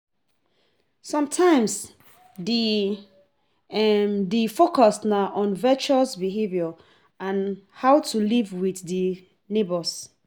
Sometimes, di di focus na on virtuous behavior and how to live with di neigbours